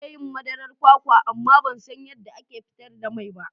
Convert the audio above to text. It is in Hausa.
Zan iya yin madarar kwakwa amma ban san yadda ake fitar da mai ba.